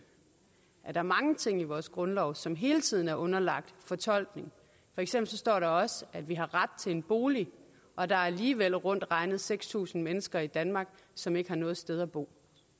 at der er mange ting i vores grundlov som hele tiden er underlagt fortolkning for eksempel står der også at vi har ret til en bolig og der er alligevel rundt regnet seks tusind mennesker i danmark som ikke har noget sted at bo